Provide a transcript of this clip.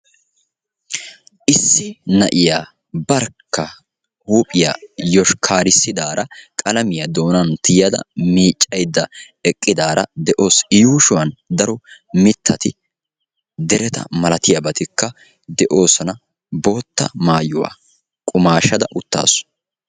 Issi na'iya barkka huuphiya yoshkkarissidaara qalamiya doonan tiyida miiccayda eqiddara de'awusu i yuushuwan daro mitati derettamalatiyabattika de'oososna, bootta maayuwa qumaashada utaasu.